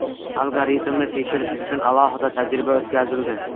Algoritmni tekshirish uchun alohida tajriba o‘tkazildi.